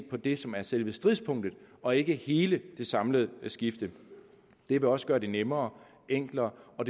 på det som er selve stridspunktet og ikke hele det samlede skifte det vil også gøre det nemmere enklere og